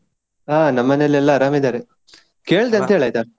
ಹಾ ನಮ್ ಮನೆಯಲ್ಲಿ ಎಲ್ಲಾ ಅರಾಮ್ ಇದ್ದಾರೆ. ಕೇಳ್ದೆ ಅಂತ ಹೇಳು ಆಯ್ತಾ?